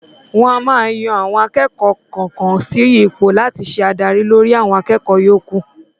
Wọn a máa yan àwọn akẹ́kọ̀ọ́ kọ̀ọ̀kan sí ipò láti ṣe adarí lórí àwọn akẹ́kọ̀ọ́ yóò kù?